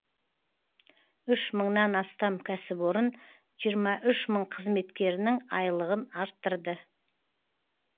үш мыңнан астам кәсіпорын жиырма үш мың қызметкерінің айлығын арттырды